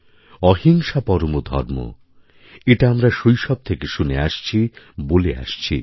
অহিংসা পরম ধর্ম এটা আমরা শৈশব থেকে শুনে আসছি বলে আসছি